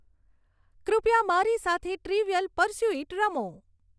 કૃપયા મારી સાથે ટ્રીવીઅલ પર્સ્યુઇટ રમો